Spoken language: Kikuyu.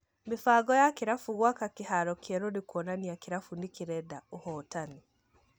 Mĩbango ya kĩrabu gwaka kĩharo kĩerũ nĩkuonania kĩrabu nĩ kĩrenda ũhotani.